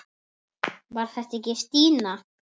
Var þetta ekki Stína?